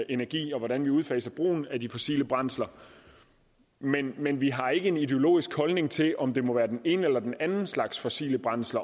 energi og hvordan vi udfaser brugen af de fossile brændsler men men vi har ikke en ideologisk holdning til om det må være den ene eller den anden slags fossilt brændsel